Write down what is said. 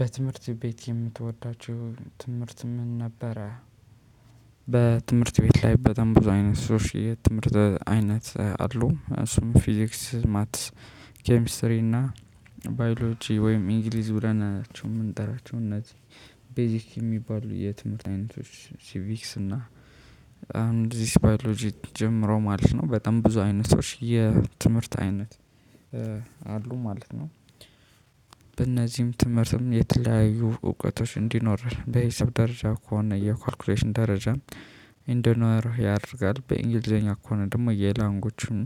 በትምህርት ቤት የምትወዳቸው ትምህርት ምን ነበረ? በትምህርት ቤት ላይ በጣም ብዙ አይነት ትምህርት አይነት አሉ እሱም ፊዚክስ ማትስ ኬሚስትሪ እና ባዮሎጂ ወይም እንግሊዝ ብለናቸው ምንጠራቸው እነዚህ ቤዚክ የሚባሉ የትምህርት አይነቶች ሲቪክስ እና እንግሊዝ ባዮሎጂ ጨምረው ማለት ነው በጣም ብዙ አይነቶች የትምህርት አይነት አሉ ማለት ነው። በእነዚህም ትምህርትም የተለያዩ እውቀቶች እንዲኖርህ በሂሳብ ደረጃ ከሆነ የካልኩሌሽን ደረጃ እንዲኖርህ ያደርጋል። በእንግሊዘኛ ከሆነ ደግሞ የላንጎቹን